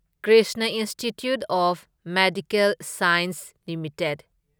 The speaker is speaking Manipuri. Krishna institute of medical science limited